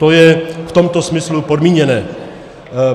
To je v tomto smyslu podmíněné.